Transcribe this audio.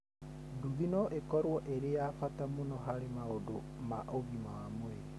Nduthi no ĩkorũo ĩrĩ ya bata mũno harĩ maũndũ ma ũgima wa mwĩrĩ.